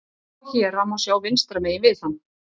Þessi óstöðugleiki er út í hött.